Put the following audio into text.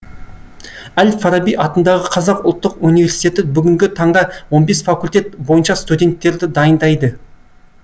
әл фараби атындағы қазақ ұлттық университеті бүгінгі таңда он бес факультет бойынша студенттерді дайындайды